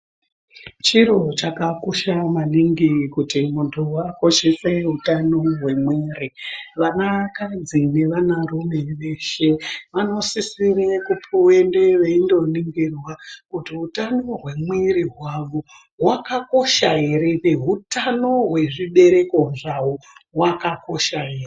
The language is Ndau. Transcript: Chiro chakakosha maningi kuti muntu akoshese utano hwemwiri vanakadzi nevana rume veshe vanosisire kupuwe endeyo veindoningirwa kuti utano hwemwiri hwavo wakakosha ere nehutano hwezvibereko zvavo hwakakosha ere.